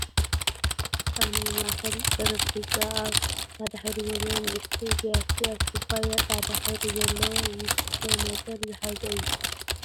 ኣብ ናይ ማእከል ጠረጵዛ ኣብ ፃዕዳ ሕብሪ ዘለዎ ንእሽተይ ብያቲ ኣብ ኩባያ ፃዕዳ ሕብሪ ዘለዎ ዝስተ ነገር ዝሓዘ እዩ ።